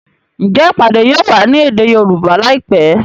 Njé ìpàdé yóò wá ní èdè Yorùbá láìpé?